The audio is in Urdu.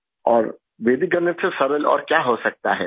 اور ویدک ریاضی سے آسان اور کیا ہو سکتا ہے